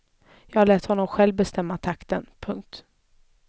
Jag lät honom själv bestämma takten. punkt